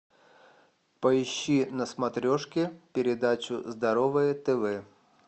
поищи на смотрешке передачу здоровое тв